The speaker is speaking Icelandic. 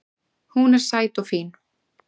Hún er sæt og fín